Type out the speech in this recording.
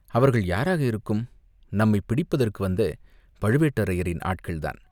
அவர்கள் யாராக இருக்கும், நம்மைப் பிடிப்பதற்கு வந்த பழுவேட்டரையரின் ஆட்கள்தான்